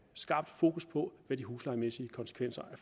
skarpt fokus på hvad de huslejemæssige konsekvenser